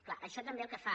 clar això també el que fa